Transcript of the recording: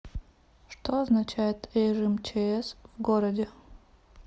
что означает режим чс в городе